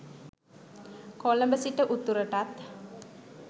කොළඹ සිට උතුරටත්